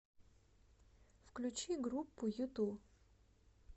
включи группу юту